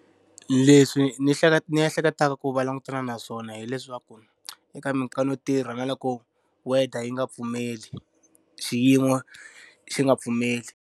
Leswi ni ni ehleketaka ku va langutana na swona hileswaku eka mikarhi yo tirha na loko weather yi nga pfumeli, xiyimo xi nga pfumeli.